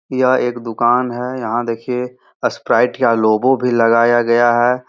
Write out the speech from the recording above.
यह एक दुकान है। यहाँ देखिये स्प्राइट या लोगो भी लगाया गया है।